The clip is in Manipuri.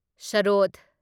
ꯁꯔꯣꯗ